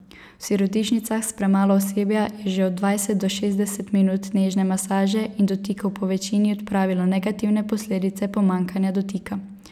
V sirotišnicah s premalo osebja je že od dvajset do šestdeset minut nežne masaže in dotikov povečini odpravilo negativne posledice pomanjkanja dotika.